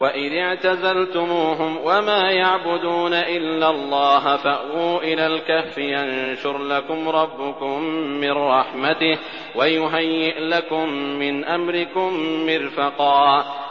وَإِذِ اعْتَزَلْتُمُوهُمْ وَمَا يَعْبُدُونَ إِلَّا اللَّهَ فَأْوُوا إِلَى الْكَهْفِ يَنشُرْ لَكُمْ رَبُّكُم مِّن رَّحْمَتِهِ وَيُهَيِّئْ لَكُم مِّنْ أَمْرِكُم مِّرْفَقًا